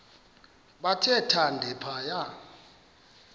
bathe thande phaya